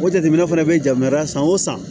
O jateminɛ fana bɛ janmaya san o san